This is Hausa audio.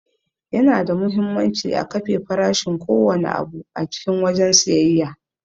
Yana da muhimmanci a kafe farashin ko wanne abu a cikin wajen siyayya.